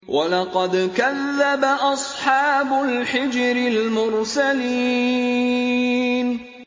وَلَقَدْ كَذَّبَ أَصْحَابُ الْحِجْرِ الْمُرْسَلِينَ